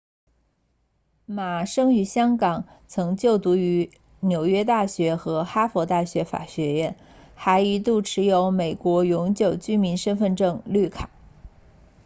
马生于香港曾就读于纽约大学和哈佛大学法学院还一度持有美国永久居民身份证绿卡